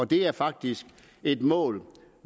det er faktisk et mål